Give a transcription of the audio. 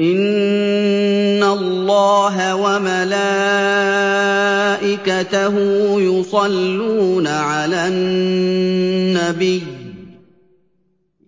إِنَّ اللَّهَ وَمَلَائِكَتَهُ يُصَلُّونَ عَلَى النَّبِيِّ ۚ